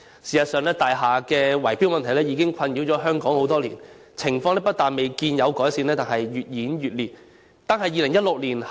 事實上，大廈圍標問題已困擾香港多年，情況不但未見改善，反而越演越烈。